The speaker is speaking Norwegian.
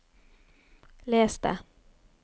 les det